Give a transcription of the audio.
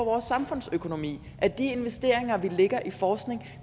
vores samfundsøkonomi at de investeringer vi lægger i forskning